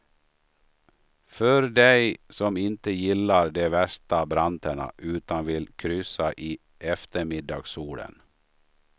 För dig som inte gillar de värsta branterna, utan vill kryssa i eftermiddagssolen.